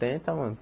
Tenta, mano.